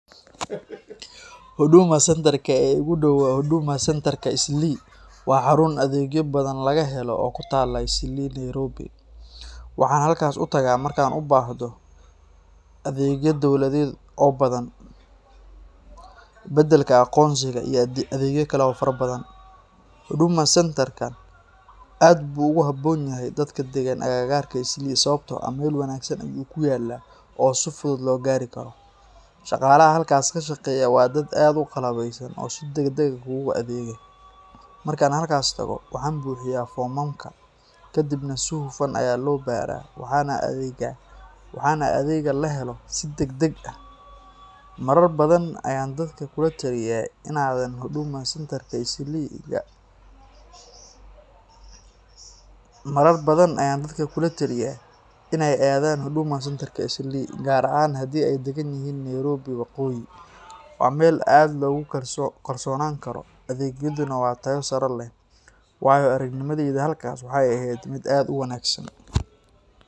Huduma Centre-ka ee iigu dhow waa Huduma Centre-ka Eastleigh. Waa xarun adeegyo badan laga helo oo ku taalla Eastleigh, Nairobi. Waxaan halkaas u tagaa markaan u baahdo adeegyo dawladeed oo badhan, beddelka aqoonsiga, iyo adeegyo kale oo fara badhan. Huduma Centre-kan aad buu ugu habboon yahay dadka deggan agagaarka Eastleigh sababtoo ah meel wanaagsan ayuu ku yaal oo si fudud loo gaari karo. Shaqaalaha halkaas ka shaqeeya waa dad aad u qalabeysan oo si degdeg ah kuugu adeega. Markaan halkaas tago, waxaan buuxiyaa foomamka, kadibna si hufan ayaa loo baaraa, waxaana adeegga la helo si degdeg ah. Marar badan ayaan dadka kula taliyaa inay aadaan Huduma Centre Eastleigh, gaar ahaan haddii ay deggan yihiin Nairobi waqooyi. Waa meel aad loogu kalsoonaan karo, adeeggeeduna waa tayo sare leh. Waayo-aragnimadayda halkaas waxay ahayd mid aad u wanaagsan.